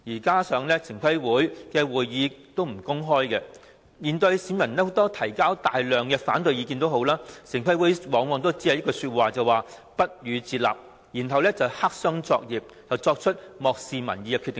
同時，城規會會議不會公開，即使市民提出大量反對意見，城規會往往表示不予接納，然後黑箱作業地作出漠視民意的決定。